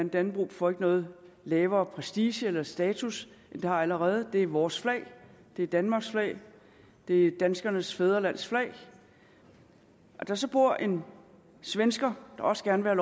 dannebrog får ikke nogen lavere prestige eller status end det har allerede det er vores flag det er danmarks flag det er danskernes fædrelands flag hvis der så bor en svensker der også gerne vil